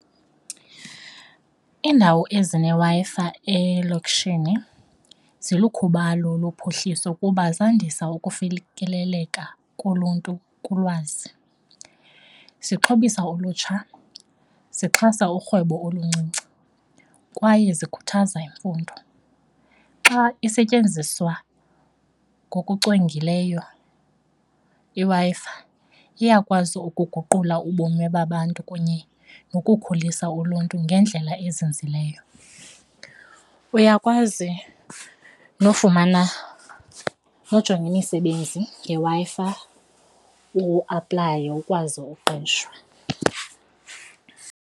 Iindawo ezineWi-Fi elokishini zilikhubalo lophuhliso kuba zandisa ukufikeleleka koluntu kulwazi, zixhobisa ulutsha, zixhasa urhwebo oluncinci kwaye zikhuthaza imfundo. Xa isetyenziswa ngokucwengileyo iWi-Fi, iyakwazi ukuguqula ubomi babantu kunye nokukhulisa uluntu ngendlela ezinzileyo. Uyakwazi nofumana, nojonga imisebenzi ngeWi-Fi uaplaye ukwazi uqeshwa.